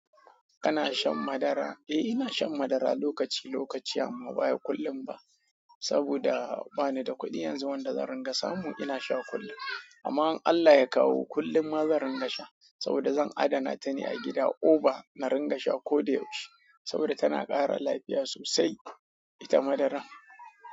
Kana shan madara? Eh, ina shan madara lokaci lokaci amma ba kullum ba. Saboda bani da kuɗi yanzu wanda zan ringa samu ina sha kullum. Amma in Allah ya kawo kullum ma zan ringa sha saboda zan adana ta ne a gida. Oba na ringa sha ko da yaushe saboda tana ƙara lafiya sosai, ita madaran.